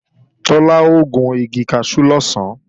Tọ́lá ó gun igi kaṣú lọ̀sán